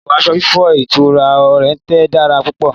Ètò aṣọ fífọ̀ ilé ìtura Oriental dára púpò